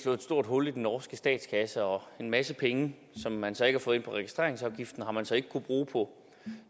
stort hul i den norske statskasse og en masse penge som man så ikke har fået ind på registreringsafgiften har man så ikke kunnet bruge på